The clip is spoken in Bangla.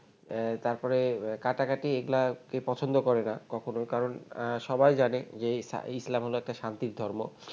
তারপরে কাটাকাটি এগুলো কেউ পছন্দ করে না কখনো কারণ সবাই জানে যে ইস ইসলাম হলো শান্তির ধর্ম